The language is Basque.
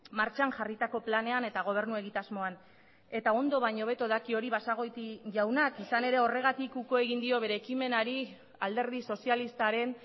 martxan jarritako planean eta gobernu egitasmoan eta ondo baino hobeto daki hori basagoiti jaunak izan ere horregatik uko egin dio bere ekimenari alderdi sozialistaren